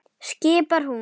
skipar hún.